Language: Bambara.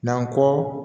N'an kɔ